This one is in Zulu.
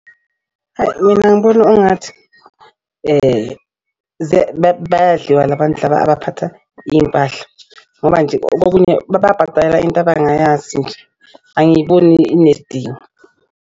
Hayi mina ngibona ungathi bayadliwa la bantu laba abaphatha iy'mpahla ngoba nje kokunye bababhadalela into abangayazi nje angiyiboni inesidingo.